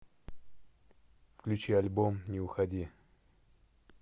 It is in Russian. включи альбом не уходи